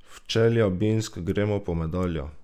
V Čeljabinsk gremo po medaljo!